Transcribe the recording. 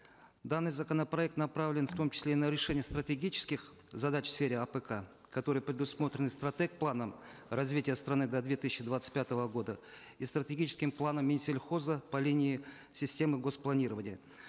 данный законопроект направлен в том числе и на решение стратегических задач в сфере апк которые предусмотрены стратег планом развития страны до две тысячи двадцать пятого года и стратегическим планом минсельхоза по линии системы гос плнирования